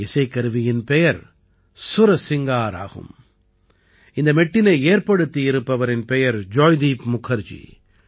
இந்த இசைக்கருவியின் பெயர் சுரசிங்கார் ஆகும் இந்த மெட்டினை ஏற்படுத்தியிருப்பவரின் பெயர் ஜாய்தீப் முகர்ஜி